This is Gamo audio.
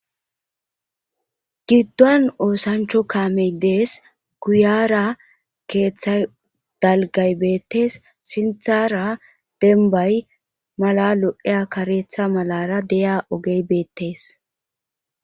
Giddon oosancho kaamey dees kuyara keeththa dalgay beettes sinthara denbay mala lo7eya kareetha malara deya ogey beettees.